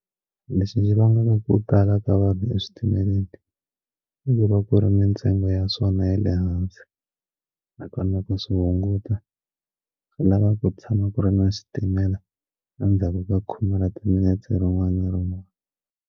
Lexi vangaka ku tala ka vanhu eswitimeleni i ku va ku ri mintsengo ya swona ya le hansi nakona ku swi hunguta swi lava ku tshama ku ri na xitimela endzhaku ka khome ra timinetse rin'wana na rin'wana.